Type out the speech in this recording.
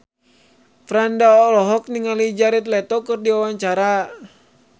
Franda olohok ningali Jared Leto keur diwawancara